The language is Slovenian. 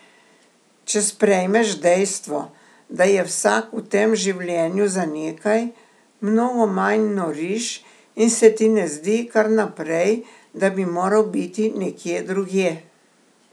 Če sprejmeš dejstvo, da je vsak v tem življenju za nekaj, mnogo manj noriš in se ti ne zdi kar naprej, da bi moral biti nekje drugje.